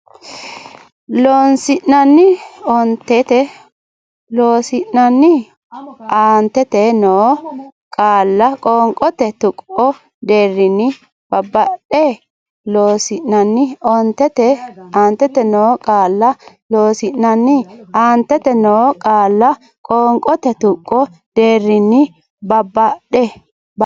Loossinanni aantete noo qaalla qoonqote tuqqo deerrinni babbadde Loossinanni aantete noo qaalla Loossinanni aantete noo qaalla qoonqote tuqqo deerrinni babbadde.